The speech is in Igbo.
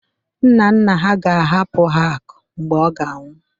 Nna nna ha ga-ahapụ ha akụ mgbe ọ ga-anwụ